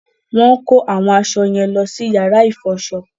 Wọ́n ń kó awọn aṣọ yẹn lọ sí yàrá ìfọṣọ